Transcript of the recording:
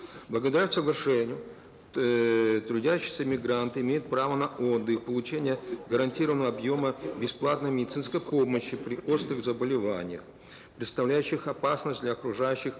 благодаря соглашению эээ трудящиеся мигранты имеют право на отдых получение гарантированного объема бесплатной медицинской помощи при острых заболеваниях представляющих опасность для окружающих